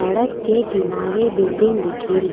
सड़क के किनारे बिल्डिंग दिखेरी।